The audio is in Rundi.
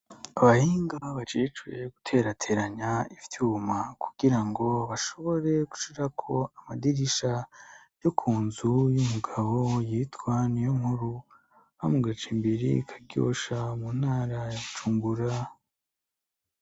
Abahinga bacicuye guterateranya ivyuma kugira ngo bashobore gushirako amadirisha yo ku nzu y'umugabo yitwan'iyo nkuru ba mu gaca imbere karyosha mu ntaracungura.